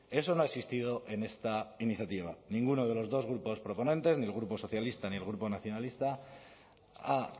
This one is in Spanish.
eso no ha existido en esta iniciativa ninguno de los dos grupos proponentes ni el grupo socialista ni el grupo nacionalista ha